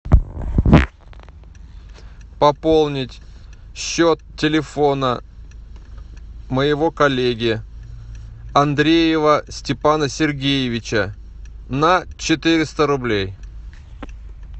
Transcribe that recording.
пополнить счет телефона моего коллеги андреева степана сергеевича на четыреста рублей